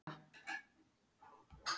Það er rétt að byrja.